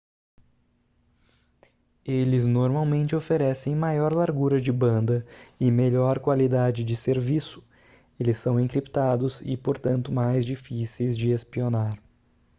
eles normalmente oferecem maior largura de banda e melhor qualidade de serviço eles são encriptados e portanto mais difíceis de espionar